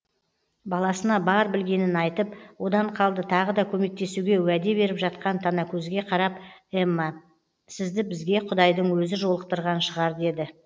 баласына бар білгенін айтып одан қалды тағы да көмектесуге уәде беріп жатқан танакөзге қарап эмма сізді бізге құдайдың өзі жолықтырған шығар деді